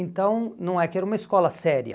Então não é que era uma escola séria.